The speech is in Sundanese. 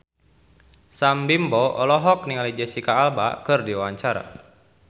Sam Bimbo olohok ningali Jesicca Alba keur diwawancara